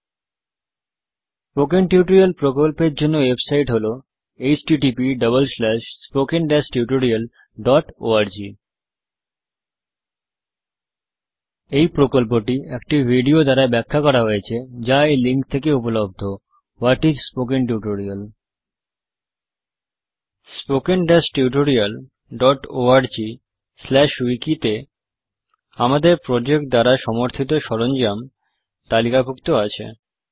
spoken tutorial প্রকল্পের জন্য website হল httpspoken tutorialorg এই প্রকল্পটি একটি ভিডিও দ্বারা ব্যাখ্যা করা হয়েছে যা এই লিঙ্ক এ উপলব্ধ what is a spoken tutorial spoken tutorialorgউইকি তে আমাদের প্রজেক্ট দ্বারা সমর্থিত সরঞ্জাম তালিকাভুক্ত আছে